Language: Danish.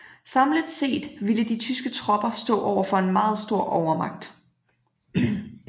Samlet set ville de tyske tropper stå overfor en meget stor overmagt